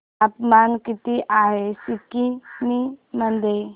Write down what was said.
तापमान किती आहे सिक्किम मध्ये